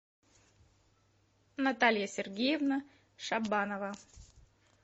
наталья сергеевна шабанова